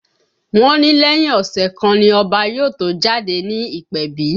Wọ́n ní lẹ́yìn ọ̀sẹ̀ kan ni Ọba yóò tó jáde ní ìpèbí